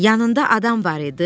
Yanında adam var idi?